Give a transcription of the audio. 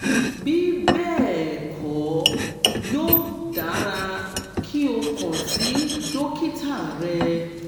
bí bẹ́ẹ̀ kọ́ yóò dára kí o kàn sí dókítà rẹ